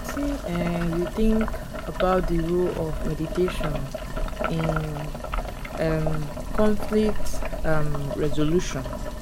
wetin um you think about di role of mediation in um conflict um resolution?